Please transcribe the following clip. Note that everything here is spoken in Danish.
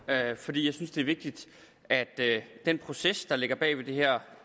fordi jeg synes det er vigtigt at den proces der ligger bag det her